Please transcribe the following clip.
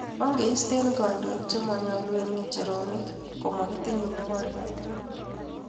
Ongeistee kandoik che manyolu eng ngecheronik komakitinye nyokornatet